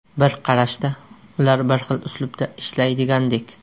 Bir qarashda, ular bir xil uslubda ishlaydigandek.